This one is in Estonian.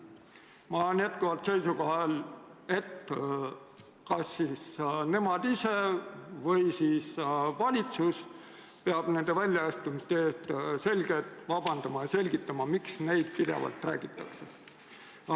Ma olen jätkuvalt seisukohal, et kas nemad ise või siis valitsus peab nende väljaütlemiste eest selgelt vabandama ja selgitama, miks neist pidevalt räägitakse.